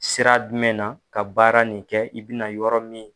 Sira dumɛn na ka baara nin kɛ, i bina yɔrɔ min